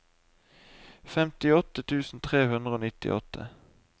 femtiåtte tusen tre hundre og nittiåtte